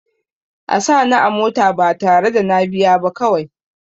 A sa ni a mota ba tare da na biya ba kawai